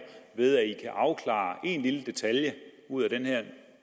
ved at i kan afklare en lille detalje ud af den her